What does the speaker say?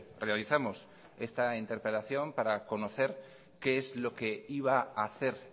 realizamos esta interpelación para conocer qué es lo que iba a hacer